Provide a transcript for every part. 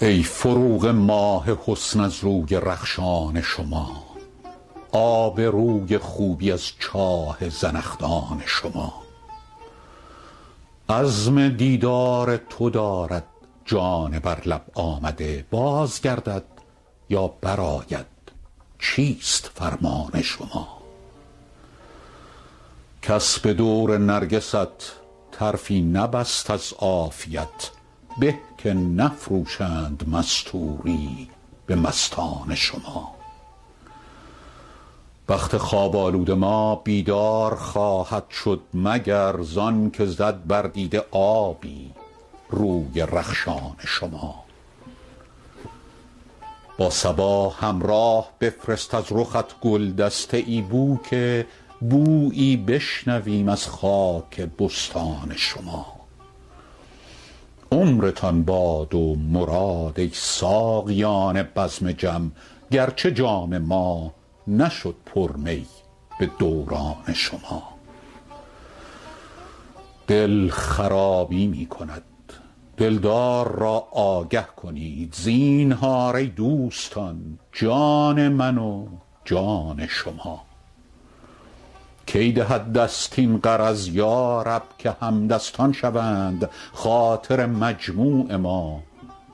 ای فروغ ماه حسن از روی رخشان شما آب روی خوبی از چاه زنخدان شما عزم دیدار تو دارد جان بر لب آمده باز گردد یا برآید چیست فرمان شما کس به دور نرگست طرفی نبست از عافیت به که نفروشند مستوری به مستان شما بخت خواب آلود ما بیدار خواهد شد مگر زان که زد بر دیده آبی روی رخشان شما با صبا همراه بفرست از رخت گل دسته ای بو که بویی بشنویم از خاک بستان شما عمرتان باد و مراد ای ساقیان بزم جم گرچه جام ما نشد پر می به دوران شما دل خرابی می کند دلدار را آگه کنید زینهار ای دوستان جان من و جان شما کی دهد دست این غرض یا رب که همدستان شوند خاطر مجموع ما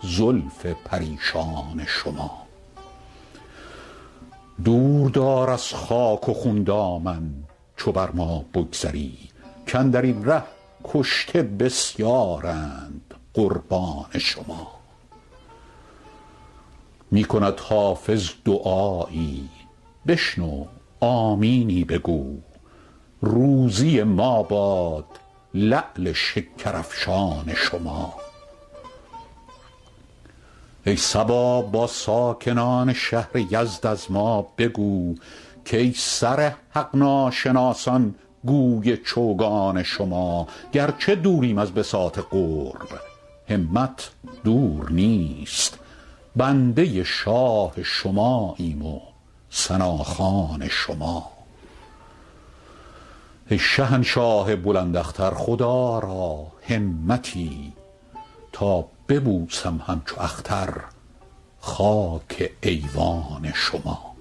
زلف پریشان شما دور دار از خاک و خون دامن چو بر ما بگذری کاندر این ره کشته بسیارند قربان شما می کند حافظ دعایی بشنو آمینی بگو روزی ما باد لعل شکرافشان شما ای صبا با ساکنان شهر یزد از ما بگو کای سر حق ناشناسان گوی چوگان شما گرچه دوریم از بساط قرب همت دور نیست بنده شاه شماییم و ثناخوان شما ای شهنشاه بلند اختر خدا را همتی تا ببوسم همچو اختر خاک ایوان شما